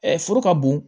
foro ka bon